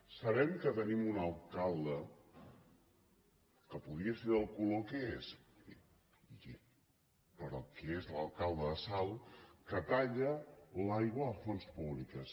sabem que tenim un alcalde que podia ser del color que és però que és l’alcalde de salt que talla l’aigua a fonts públiques